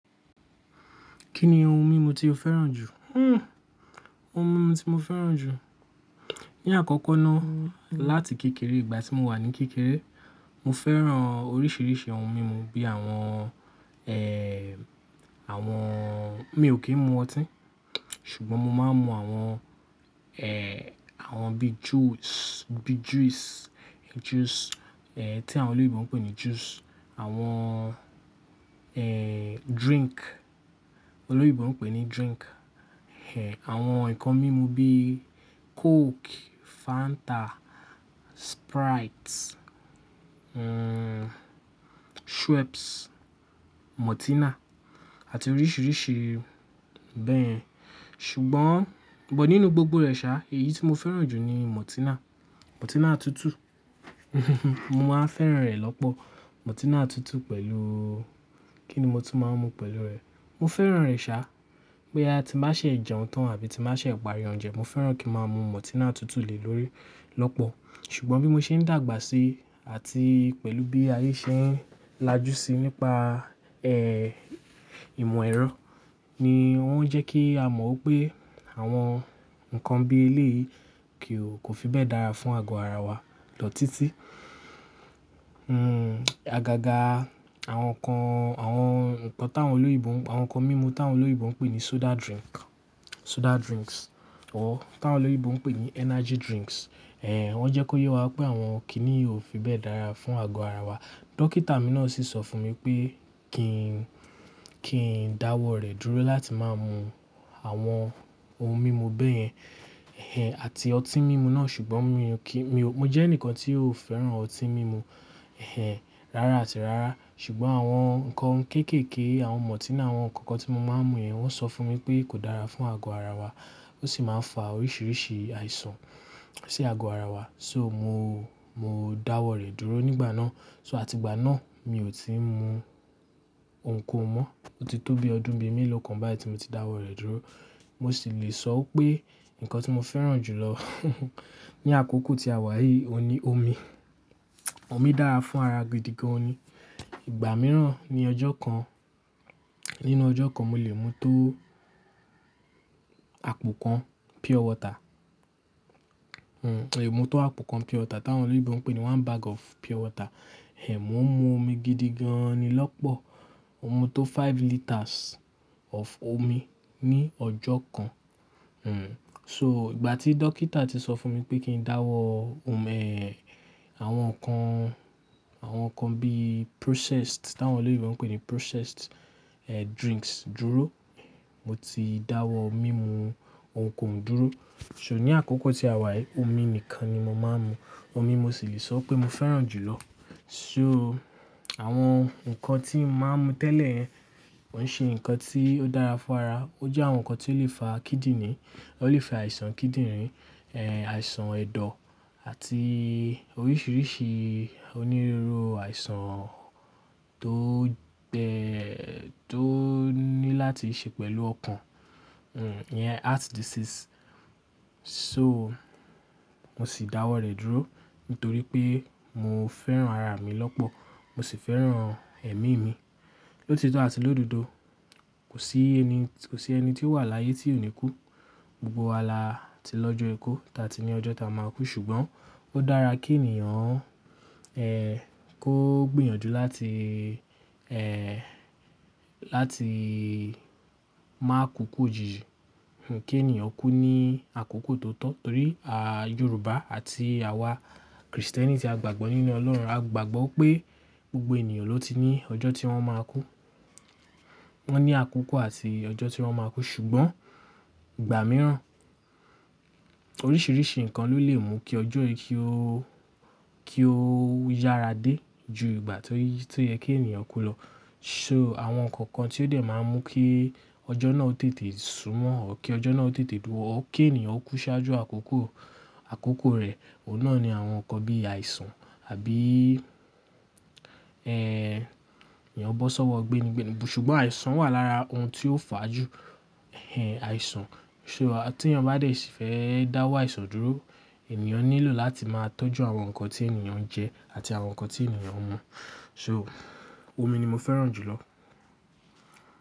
Kí ni ohun mímu tí o fẹ́ràn jù? Hmm, ohun mímu tí mo fẹ́ràn jù. Ní àkọ́kọ́ ná, láti kékeré, ìgbà tí mo wà ní kékeré, mo fẹ́ràn oríṣiríṣi ohun mímu bí i àwọn, ẹ, àwọn-- mi ò kí ń mu ọtí, ṣùgbọ́n mo máa ń mu àwọn, ẹ, àwọn bíi juice, bíi juice, juice, ẹ, tí àwọn olóyiibo ń pè ní juice, àwọn, ẹ, drink, olóyèbo ń pè ní drink, ẹ, àwọn ǹkan mímu bíi coke, Fanta, Sprite, hmm, Schweppes, Mọ́tínà àti oríṣiríṣi bẹ́ẹ̀. Ṣùgbọ́n, ṣùgbọ́n nínú gbogbo rẹ̀ ṣá, èyí tí mo fẹ́ràn jù ni Mọ́tínà, Mọ́tínà tutù. Mo máa ń fẹ́ràn rẹ̀ lọ́pọ̀. Mọ́tínà tutù pẹ̀lú-- kí ni mo ti máa ń mu pẹ̀lú rẹ̀? Mo fẹ́ràn rẹ̀ ṣá, pé a ti bá ṣè jẹun tán àbí ti bá ṣè parí oúnjẹ, mo fẹ́ràn kí ń máa mu Mọ́tínà tutù lè lórí lọ́pọ̀. Ṣùgbọ́n bí mo ṣe ń dàgbà síi àti pẹ̀lú bí ayé ṣe ń lajú síi nípa, ẹ, ìmọ̀ ẹ̀rọ ni ó ń jẹ́ kí a mọ̀ pé àwọn ǹkan bí eléyìí kì ó, kò fi bẹ́ẹ̀ dára fún àgọ́ ara wa lọ títí. Hmm, àgàgà àwọn ǹkan, àwọn ǹkan táwọn olóyèbo, àwọn ǹkan mímu táwọn olóyèbo ń pè ní soda drink, soda drinks or táwọn olóyèbo ń pè ní energy drinks, ẹ, wọ́n jẹ́ kó yé wa pé àwọn kíní ò fi bẹ́ẹ̀ dára fún àgọ́ ara wa. Dọ́kítà mi náà sì sọ fún mi pé kí n, kí n dáwọ́ rẹ̀ dúró láti máa mu àwọn ohun mímu bẹ́yẹn, ẹ, àti ọtí mímu náà. Ṣùgbọ́n mi ò kí, mi ò, mo jẹ́ ẹnìkan tí ò fẹ́ràn ọtí mímu, ẹ, rárá àti rárá. Ṣùgbọ́n àwọn ǹkan kéékèèké, àwọn Mọ́tínà, àwọn ǹkan kan tí mo máa ń mu yẹn, wọ́n sọ fún mi pé kò dára fún àgọ́ ara wa. Ó sì máa ń fa oríṣiríṣi àìsàn sí àgọ́ ara wa. So mo, mo dáwọ́ rẹ̀ dúró nígbà náà. So àti ìgbà náà mi ò tíì mu ohun kan mọ́. O ti tó bi ọdún bí i mẹ́ẹ̀lọ̀ kan báyìí tí mo ti dáwọ́ rẹ̀ dúró. Mo sì lè sọ pé ǹkan tí mo fẹ́ràn jù lọ ní àkókò tí a wà yìí, o ní omi. Omi dára fún ara gidi gan-an ni. Ìgbà mìíràn ní ọjọ́ kan, nínú ọjọ́ kan mo lè mu tó àpò kan pure water. Hmm, mo lè mu tó àpò kan pure water táwọn olóyèbo ń pè ní one bag of pure water. Ẹ, mò ń mu omi gidi gan-an ni lọ́pọ̀. Mo mu tó five liters of omi ní ọjọ́ kan. Hmm, so ìgbà tí dọ́kítà ti sọ fún mi pé kí n dáwọ́ omi, ẹ, àwọn ǹkan, àwọn ǹkan bíi processed táwọn olóyèbo ń pè ní processed, ẹ, drinks dúró, mo ti dáwọ́ mímu ohun kan dúró. So ní àkókò tí a wà yìí, omi nìkan ni mo máa ń mu. Omi mo sì lè sọ pé mo fẹ́ràn jù lọ. So àwọn ǹkan tí n máa ń mu tẹ́lẹ̀ yẹn, ó ń ṣe ǹkan tí ó dára fún ara. Ó jẹ́ àwọn ǹkan tí ó lè fa kíndìnrín, ó lè fa àìsàn kíndìnrín, ẹ, àìsàn ẹ̀dọ̀ àti oríṣiríṣi onírúurú àìsàn tó bẹ́, tó ní láti ṣe pẹ̀lú ọkàn. Ìyẹn, heart diseases. So mo sì dáwọ́ rẹ̀ dúró nítorí pé mo fẹ́ràn ara mi lọ́pọ̀, mo sì fẹ́ràn ẹ̀mí mi. Lótitọ́ àti lododo, kò sí ẹni, kò sí ẹni tí ó wà láyé tí ò ní kú. Gbogbo wa la ti lọ́jọ́ è kó táa ti ní ọjọ́ táa máa kú. Ṣùgbọ́n ó dára kí ènìyàn, ẹ, kó gbìyànjú láti, ẹ, láti máa kú kú òjíjí. Hmm, kí ènìyàn kú ní àkókò tó tọ́. Torí a Yorùbá àti àwa Kristẹni tí a gbàgbọ́ nínú Ọlọ́run, a gbàgbọ́ pé gbogbo ènìyàn ló ti ní ọjọ́ tí wọ́n máa kú. Wọ́n ní àkókò àti ọjọ́ tí wọ́n máa kú. Ṣùgbọ́n ìgbà mìíràn, oríṣiríṣi ǹkan ló lè mú kí ọjọ́ yìí kí ó, kí ó yára dé ju ìgbà tó yẹ kí ènìyàn kú lọ. So àwọn ǹkan kan tí ó dẹ̀ máa ń mú kí ọjọ́ náà ó tètè súmọ́ or, kí ọjọ́ náà ó tètè dùn, kí ènìyàn kú ṣáájú àkókò, àkókò rẹ̀, ọ̀nà ni àwọn ǹkan bí àìsàn àbí, ẹ, ènìyàn bọ́ sọ́wọ́ gbé nígbẹ̀nígbẹ̀ní. Ṣùgbọ́n àìsàn wà lára ohun tí ó fà á jù. Ẹ, àìsàn. So tí ẹnìyàn bá dẹ̀ sì fẹ́ dáwọ́ àìsàn dúró, ènìyàn nílò láti máa tọ́jú àwọn ǹkan tí ènìyàn ń jẹ àti àwọn ǹkan tí ènìyàn ń mu. So omi ni mo fẹ́ràn jù lọ.